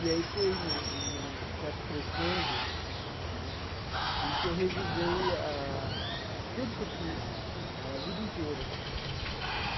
E aí foi num num num certo crescendo né em que eu revisei ah tudo que eu fiz eh, a vida inteira.